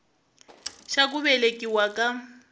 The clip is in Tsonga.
xa ku velekiwa ka n